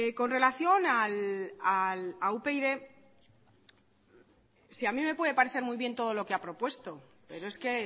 con relación a upyd si a mí me puede parecer muy bien todo lo que ha propuesto pero es que